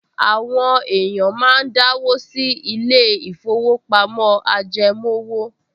Àwọn èèyàn máa ń dáwó sí ilé-ìfowópamọ́ ajẹmówò